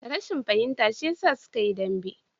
Rashin fahimta shi ya sa suka yi dambe